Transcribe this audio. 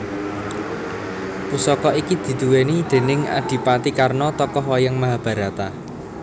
Pusaka iki diduweni déning adipati Karna tokoh wayang Mahabharata